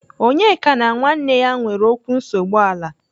Onyeka na nwanne ya nwere okwu nsogbu ala.